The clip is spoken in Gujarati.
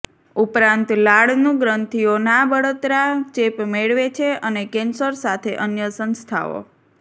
ઉપરાંત લાળનું ગ્રંથીઓ ના બળતરા ચેપ મેળવે છે અને કેન્સર સાથે અન્ય સંસ્થાઓ